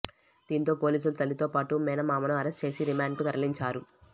దీంతో పోలీసులు తల్లితో పాటు మేనమామను అరెస్టు చేసి రిమాండ్కు తరలించారు